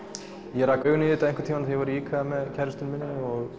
ég rak augun í þetta einhvern tímann þegar ég var í IKEA með kærustunni minni